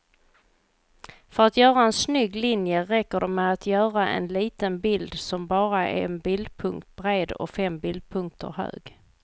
För att göra en snygg linje räcker det med att göra en liten bild som bara är en bildpunkt bred och fem bildpunkter hög.